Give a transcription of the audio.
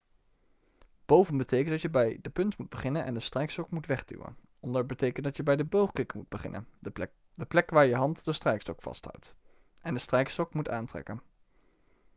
boven betekent dat je bij de punt moet beginnen en de strijkstok moet wegduwen. onder betekent dat je bij de boogkikker moet beginnen de plek waar je hand de strijkstok vasthoudt en de strijkstok moet aantrekken